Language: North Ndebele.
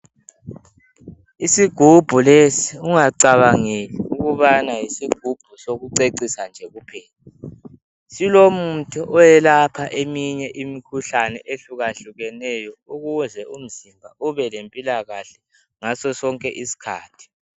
Isigubhu lesi ungacabangeli ukubana isigubhu sokucecisa nje kuphela silomuthi oyelapha eminye imikhuhlane ehluka hlukeneyo ukuze umzimba ubelempilakahle ngasosonke isikhathi.